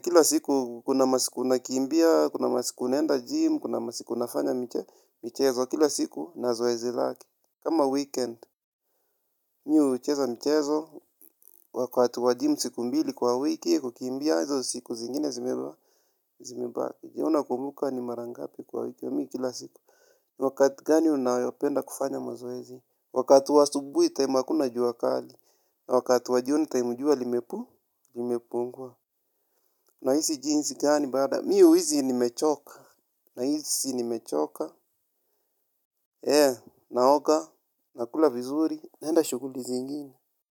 Kila siku kuna masiku nakiimbia, kuna masiku naenda jimu, kuna masiku nafanya michezo. Kila siku na zoezi lake. Kama weekend, mimi hucheza michezo, wakati wa jimu siku mbili kwa wiki kukimbia. Hizo siku zingine zimebaki. Je nakumuka ni mara ngapi kwa wiki mimi kila siku. Wakati gani unayopenda kufanya mazoezi? Wakati wa asubuhi taimu hakuna jua kali. Wakati wa jioni taimu jua limepungua. Limepungwa. Nahisi jinsi gani baada Mi huhisi nimechoka. Nahisi ni mechoka. Naoga. Nakula vizuri. Naenda shughuli zingine.